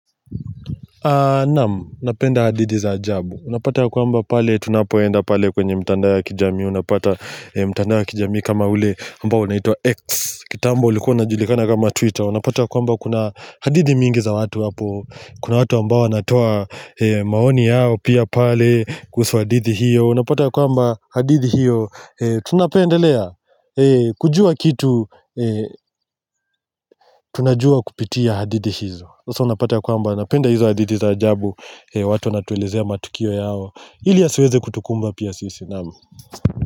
Naam, napenda hadithi za ajabu Unapata ya kwamba pale, tunapoenda pale kwenye mtandao ya kijamii Unapata mtandao ya kijamii kama ule ambao unaitwa X kitambo ulikuwa unajulikana kama Twitter Unapata ya kwamba kuna hadithi mingi za watu hapo Kuna watu ambao wanatoa maoni yao pia pale kuhusu hadithi hiyo Unapata ya kwamba hadith noi hiyo Tunapendelea, kujua kitu tunajua kupitia hadithi hizo so unapata kwamba napenda hizo hadithi za ajabu watu wanatuelezea matukio yao ili yasiweze kutukumba pia sisi.